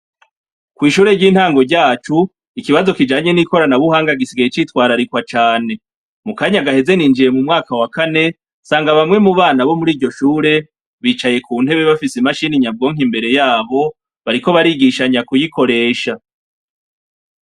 Ku ishure ry'intango ryacu ikibazo kijanye n'ikoranabuhanga gisigaye citwararikwa cane mu kanya gaheze ninjiye mu mwaka wa kane sanga bamwe mu bana bo muri iryo shure bicaye ku ntebe bafise imashini nyabwonka imbere yabo bariko barigishanya kuyikoresha.